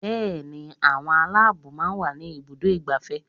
Bẹẹni, àwọn Aláàbòò máa ń wà ní ibùdó igbàfẹ́.